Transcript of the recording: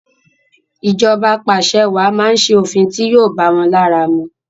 Ìjọba apàṣẹwàá máa ṣe òfin ti yóò báwọn lára mu.